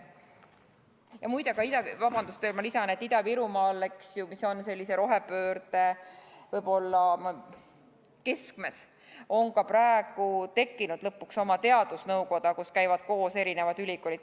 Ja muide – vabandust, ma lisan –, Ida-Virumaal, mis on samuti võib-olla rohepöörde keskmes, on nüüdseks lõpuks tekkinud oma teadusnõukoda, kus käivad koos erinevad ülikoolid.